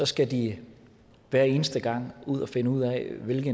skal de hver eneste gang finde ud af hvilke